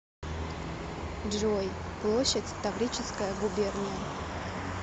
джой площадь таврическая губерния